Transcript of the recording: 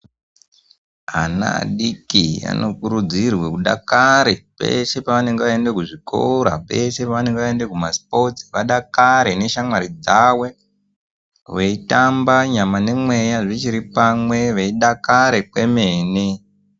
Ana adodori anokurudzirwa kuti adakare pose paanoenda kuzvikora peshe paanoenda kumaspotsi adakare neshamwari dzavo nyama dzichiri pamwe nemweya adakare kwemene.